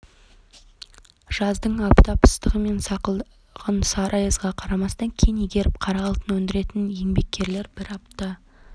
жаздың аптап ыстығы мен сақылдаған сары аязға қарамастан кен игеріп қара алтын өндіретін еңбеккерлер бір апта